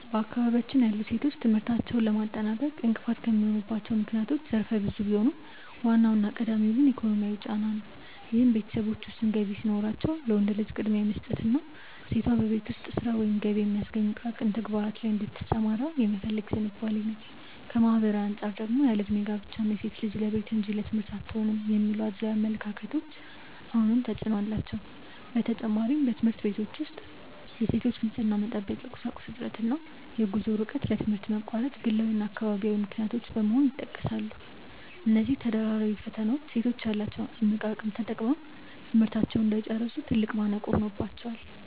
በአካባቢያችን ያሉ ሴቶች ትምህርታቸውን ለማጠናቀቅ እንቅፋት የሚሆኑባቸው ምክንያቶች ዘርፈ ብዙ ቢሆኑም፣ ዋናውና ቀዳሚው ግን ኢኮኖሚያዊ ጫና ነው፤ ይህም ቤተሰቦች ውስን ገቢ ሲኖራቸው ለወንድ ልጅ ቅድሚያ የመስጠትና ሴቷ በቤት ውስጥ ሥራ ወይም ገቢ በሚያስገኙ ጥቃቅን ተግባራት ላይ እንድትሰማራ የመፈለግ ዝንባሌ ነው። ከማኅበራዊ አንጻር ደግሞ ያለዕድሜ ጋብቻ እና "ሴት ልጅ ለቤት እንጂ ለትምህርት አትሆንም" የሚሉ አድሏዊ አመለካከቶች አሁንም ተፅዕኖ አላቸው። በተጨማሪም፣ በትምህርት ቤቶች ውስጥ የሴቶች የንፅህና መጠበቂያ ቁሳቁስ እጥረት እና የጉዞ ርቀት ለትምህርት መቋረጥ ግላዊና አካባቢያዊ ምክንያቶች በመሆን ይጠቀሳሉ። እነዚህ ተደራራቢ ፈተናዎች ሴቶች ያላቸውን እምቅ አቅም ተጠቅመው ትምህርታቸውን እንዳይጨርሱ ትልቅ ማነቆ ሆነውባቸዋል።